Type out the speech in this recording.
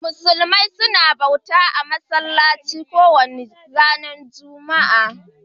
Musulmi suna bauta a'masallaci kowani ran Juma'a.